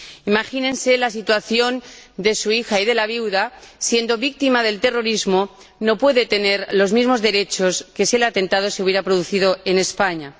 Imagínense la situación de su hija y de la viuda siendo víctimas del terrorismo, no pueden tener los mismos derechos que si el atentado se hubiera producido en España.